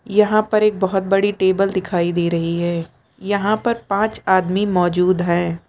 यहां पर एक बहोत बड़ी टेबल दिखाई दे रही है यहां पर पांच आदमी मौजूद हैं।